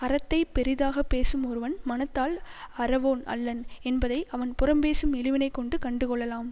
அறத்தைப் பெரிதாக பேசும் ஒருவன் மனத்தால் அறவோன் அல்லன் என்பதை அவன் புறம்பேசும் இழிவினைக் கொண்டு கண்டுகொள்ளலாம்